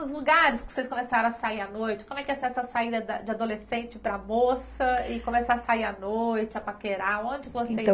Os lugares que vocês começaram a sair à noite, como é que é essa saída da da adolescente para moça e começar a sair à noite, a paquerar, onde vocês iam?